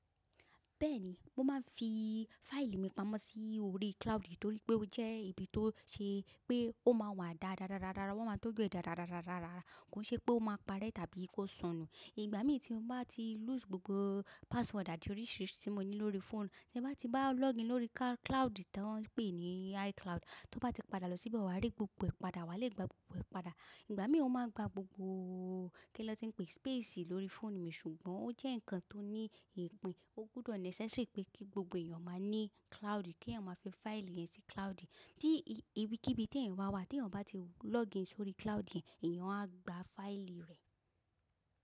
Bẹ́ẹ̀ni, mo máa ń fi fáìlì mi pamọ́ sí orí cloud torí pé ó jẹ́ ibi tó ṣe pé ó máa wà dáradára, wọ́n máa tọjú ẹ dáradára, kó ṣe pé ó máa parẹ́ tàbí kó sọnù. Ìgbà mí tí mo bá ti lose gbogbo password àti oríṣiríṣi tí mo ní lórí fóònù, tí ẹ bá ti bá login lórí cloud tí wọ́n ń pè ní iCloud, tí ó bá ti padà lọ síbẹ̀, wà á rí gbogbo ẹ̀ padà, wà á le gba gbogbo ẹ̀ padà. Ìgbà mí ó máa gba gbogbo kí lọ́ tí ń pe space lórí fóònù mi ṣùgbọ́n ó jẹ́ ǹkan tó ní ìpín, ó gbudọ̀ necessary pé kí gbogbo èèyàn máa ní cloud, kí èèyàn máa fi fáìlì rẹ̀ sí cloud. Tí ibì kí ibi tí èèyàn bà wá, tí èèyàn bá ti login sórí cloud yẹ̀n, èèyàn á gba fáìlì rẹ̀.